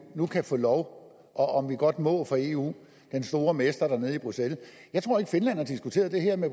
nu kan få lov og om vi godt må for eu den store mester nede i bruxelles jeg tror ikke finland har diskuteret det her med